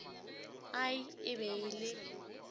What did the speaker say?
ai e be e le